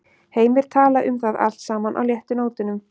Heimir talaði um það allt saman á léttu nótunum.